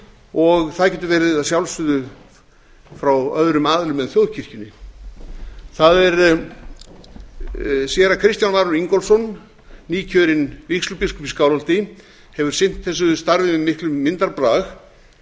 og það getur að sjálfsögðu verið frá öðrum aðilum en þjóðkirkjunni séra kristján valur ingólfsson nýkjörinn vígslubiskup í skálholti hefur sinnt þessu starfi með miklum myndarbrag